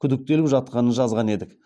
күдіктеліп жатқанын жазған едік